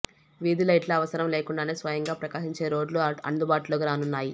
వీధి లైట్లు అవసరం లేకుండానే స్వయంగా ప్రకాశించే రోడ్లు అందుబాటులోకి రానున్నాయి